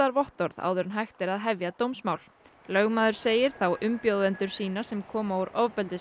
sáttavottorð áður en hægt er að hefja dómsmál lögmaður segir þá umbjóðendur sína sem koma úr